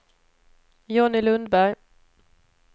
Johnny Lundberg